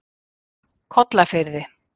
Kollafirði